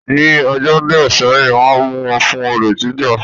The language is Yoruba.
Ní ọjọ́ díẹ̀ sẹ́yìn, Wọ́n mu wọn fún olè jíjà